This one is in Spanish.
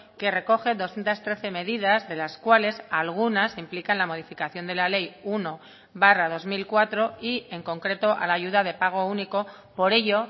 que recoge doscientos trece medidas de las cuales algunas implican la modificación de la ley uno barra dos mil cuatro y en concreto a la ayuda de pago único por ello